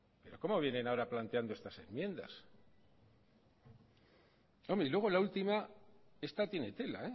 cómo vienen ahora planteando estas enmiendas y luego la última esta tiene tela